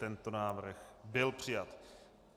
Tento návrh byl přijat.